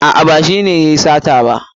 A'a ba shi ne yayi sata ba.